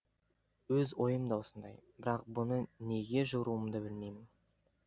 өз ойым да осындай бірақ бұны неге жоруымды білмеймін